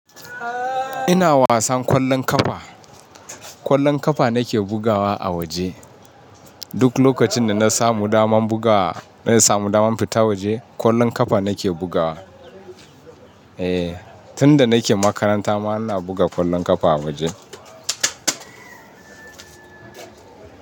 Ina wasan kwallon kafa. Kwallon kafa nake bugawa a waje. Duk lokacin da na samu damar bugawa, na samu damar fita waje kwallon kafa nake bugawa. Eh, tun da nake makaranta ma ina buga kwallon kafa a waje.